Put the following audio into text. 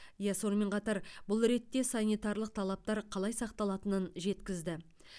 ол сонымен қатар бұл ретте санитарлық талаптар қалай сақталатынын жеткізді